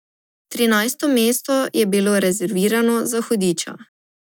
Trinajsto mesto je bilo rezervirano za hudiča.